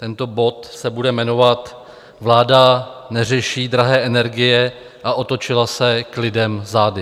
Tento bod se bude jmenovat Vláda neřeší drahé energie a otočila se k lidem zády.